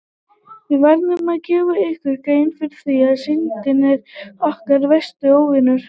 Við verðum að gera okkur grein fyrir því að Syndin er okkar versti óvinur!